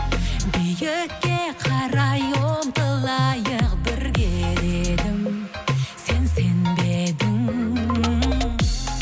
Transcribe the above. биікке қарай ұмтылайық бірге сен сенбедің